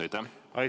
Aitäh!